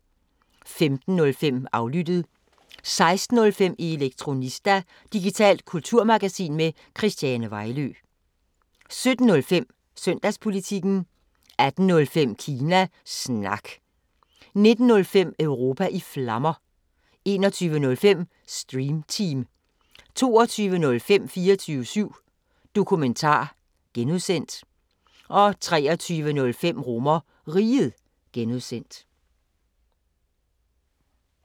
15:05: Aflyttet 16:05: Elektronista – digitalt kulturmagasin med Christiane Vejlø 17:05: Søndagspolitikken 18:05: Kina Snak 19:05: Europa i Flammer 21:05: Stream Team 22:05: 24syv Dokumentar (G) 23:05: RomerRiget (G)